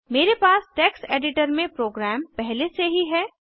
मेरे पास text editor में प्रोग्राम पहले से ही है